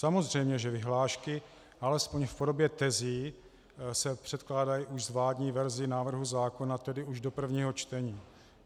Samozřejmě že vyhlášky alespoň v podobě tezí se předkládají už s vládní verzí návrhu zákona, tedy už do prvního čtení.